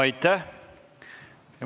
Aitäh!